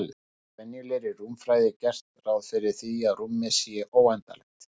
Í venjulegri rúmfræði er gert ráð fyrir því að rúmið sé óendanlegt.